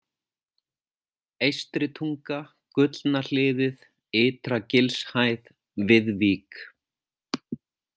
Eystritunga, Gullna hliðið, Ytra-Gilshæð, Viðvík